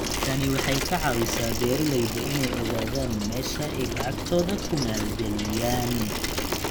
Tani waxay ka caawisaa beeralayda inay ogaadaan meesha ay lacagtooda ku maalgeliyaan.